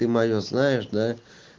ты моё знаешь да